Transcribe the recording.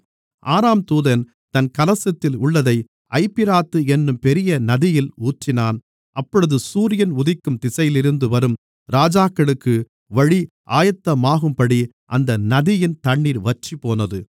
ஆறாம் தூதன் தன் கலசத்தில் உள்ளதை ஐபிராத்து என்னும் பெரிய நதியில் ஊற்றினான் அப்பொழுது சூரியன் உதிக்கும் திசையிலிருந்து வரும் ராஜாக்களுக்கு வழி ஆயத்தமாகும்படி அந்த நதியின் தண்ணீர் வற்றிப்போனது